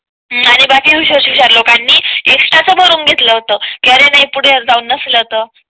आणि बाकी हुशार लोकांनी एक्स्ट्रा च भरून घेतला होता. कि अरे पुढे जाऊन नसाल तर